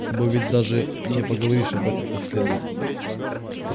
с тобой ведь даже не поговоришь об этом как следует